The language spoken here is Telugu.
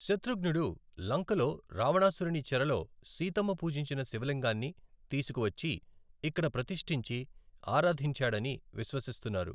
శత్రుఘ్నుడు లంకలో రావణాసురుని చెరలో సీతమ్మ పూజించిన శివలింగాన్ని తీసుకువచ్చి ఇక్కడ ప్రతిష్ఠించి ఆరాధించాడని విశ్వసిస్తున్నారు.